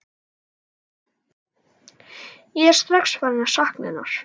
Ég er strax farinn að sakna hennar.